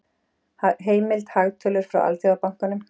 Heimild: Hagtölur frá Alþjóðabankanum.